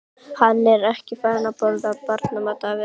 Hann er ekki farinn að borða barnamat, afi.